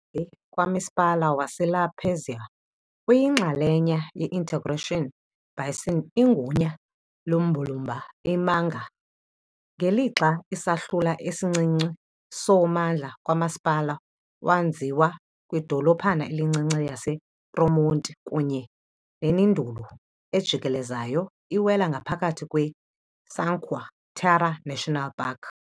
kamasipala waseLa Spezia uyinxalenye ye- interregional basin igunya lombulumba i-Magra, ngelixa isahlula esincinci sommandla kamasipala, wenziwe kwidolophana elincinci yaseTramonti kunye nenduli ejikelezayo, iwela ngaphakathi kweCinque Terre National Park.